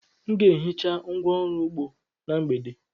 M ga-ehicha ngwá ọrụ ugbo na mgbede.